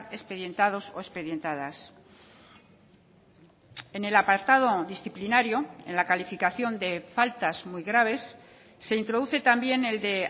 expedientados o expedientadas en el apartado disciplinario en la calificación de faltas muy graves se introduce también el de